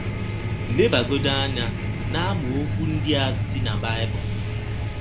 Lebagọdị anya n’amaọkwụ ndị a si na Baịbụl: